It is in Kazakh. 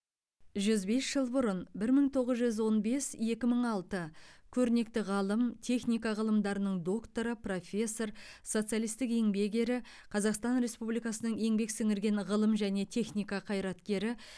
жүз бес жыл бұрын бір мың тоғыз жүз он бес екі мың алты көрнекті ғалым техника ғылымдарының докторы профессор социалистік еңбек ері қазақстан республикасының еңбек сіңірген ғылым және техника қайраткері